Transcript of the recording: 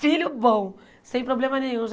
Filho bom, sem problema nenhum. Já